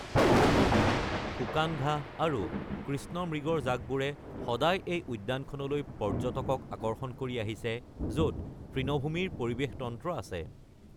সমতল ভূমি, শুকান ঘাঁহ, আৰু কৃষ্ণমৃগৰ জাকবোৰে সদায় এই উদ্যানখনলৈ পৰ্য্যটকক আকৰ্ষণ কৰি আহিছে, য'ত তৃণভূমিৰ পৰিৱেশ তন্ত্ৰ আছে।